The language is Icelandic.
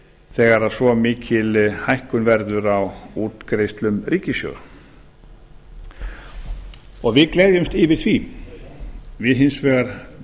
þegar svo mikil hækkun verður á útgreiðslum ríkissjóðs og við gleðjumst yfir því við bendum hins